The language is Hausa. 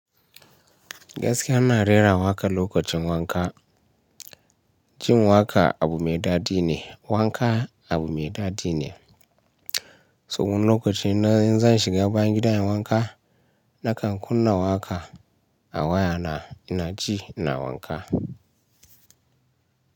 Gaskiya ina rera waƙa lokacin wanka. Jin waƙa abu mai daɗi ne, wanka abu mai daɗi ne. So wani lokaci ina in zan shiga bayan gidan in wanka nakan kunna waƙa a waya na ina ji ina wanka.